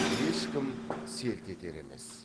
ешкім селт етер емес